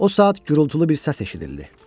O saat gürultulu bir səs eşidildi.